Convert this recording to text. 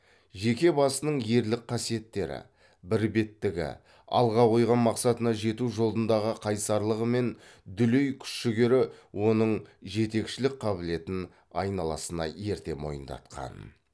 жеке басының ерлік қасиеттері бірбеттігі алға қойған мақсатына жету жолындағы қайсарлығы мен дүлей күш жігері оның жетекшілік қабілетін айналасына ерте мойындатқан